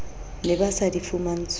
ne ba sa di fumantshwe